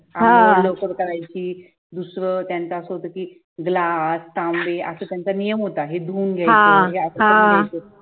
अंघोळ लवकर करायची दुसरं त्यांचं असं होतं कि glass तांबे असं त्यांचा नियम होता हे धुवून घ्यायचं